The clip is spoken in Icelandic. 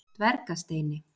Dvergasteini